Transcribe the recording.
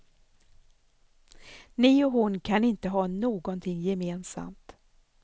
Ni och hon kan inte ha någonting gemensamt.